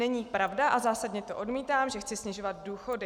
Není pravda, a zásadně to odmítám, že chci snižovat důchody."